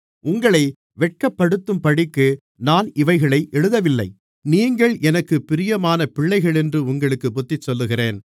உங்களை வெட்கப்படுத்தும்படிக்கு நான் இவைகளை எழுதவில்லை நீங்கள் எனக்குப் பிரியமான பிள்ளைகளென்று உங்களுக்குப் புத்திசொல்லுகிறேன்